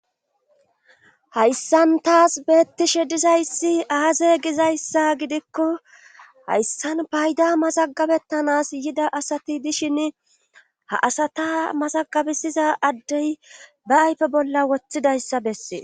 Hayssan taas beettishe dizayssi aaze gizayssa gidikko hayssan payda mazagabettanas yida asati dishin ha asata masagabesiza addey ba ayfe bolla wothidayssa bessee.